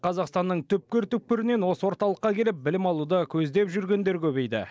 қазақстанның түпкір түпкірінен осы орталыққа келіп білім алуды көздеп жүргендер көбейді